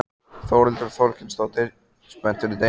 Þórhildur Þorkelsdóttir: Spennt fyrir deginum?